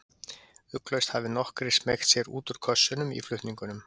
Ugglaust hafi nokkrir smeygt sér út úr kössunum í flutningunum.